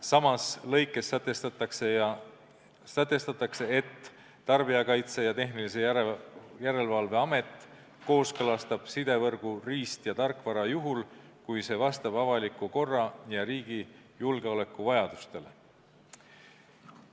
Samas lõikes sätestatakse, et Tarbijakaitse ja Tehnilise Järelevalve Amet kooskõlastab sidevõrgu riist- ja tarkvara juhul, kui see vastab avaliku korra ja riigi julgeoleku vajadusetele.